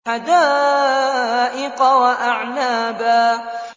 حَدَائِقَ وَأَعْنَابًا